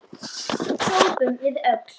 hrópum við öll.